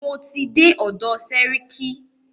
Mo ti dé ọ̀dọ̀ sẹ́ríkí.